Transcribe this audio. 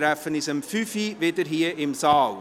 Wir treffen uns um 17.00 Uhr wieder hier im Saal.